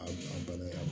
A bana